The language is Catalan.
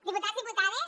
diputats diputades